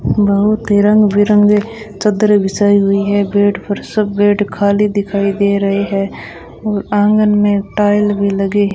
बहुत ही रंग बिरंगे चद्दरे बिछाई हुई है बेड पर सब बेड खाली दिखाई दे रहे है और आंगन में टाइल भी लगी --